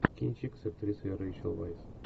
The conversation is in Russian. кинчик с актрисой рэйчел вайс